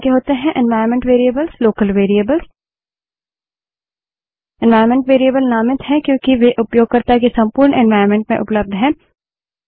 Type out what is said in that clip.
environment variables local variables environment variables नामित हैं क्योंकि वे उपयोगकर्ता के संपूर्ण एन्वाइरन्मेंट में उपलब्ध हैं